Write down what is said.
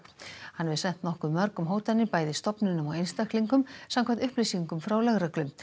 hann hefur sent nokkuð mörgum hótanir bæði stofnunum og einstaklingum samkvæmt upplýsingum frá lögreglu